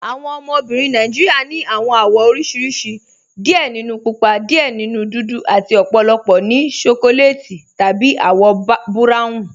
Awọn obìnrin Nàìjíríà ni awọn awọ̀ oríṣiríṣì, díẹ̀ nínú púpà, díẹ̀ nínú dúdú, àti ọ̀pọ̀lọpọ̀ ní ṣókòlètì tàbí awọ̀ buráwùn